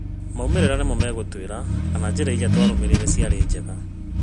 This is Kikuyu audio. Maumĩrĩra nĩmo megũtuĩra kana njĩra irĩa twatũmĩrire ciarĩ njega.